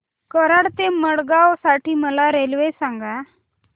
कराड ते मडगाव साठी मला रेल्वे सांगा